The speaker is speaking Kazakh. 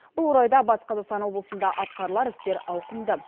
бұл орайда батыс қазақстан облысында атқарылар істер ауқымды